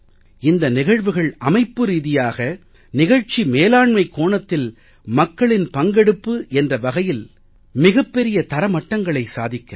இந்த நிகழ்வுகள் அமைப்பு ரீதியாக நிகழ்ச்சி மேலாண்மைக் கோணத்தில் மக்களின் பங்கெடுப்பு என்ற வகையில் மிகப் பெரிய தரமட்டங்களை சாதிக்கிறது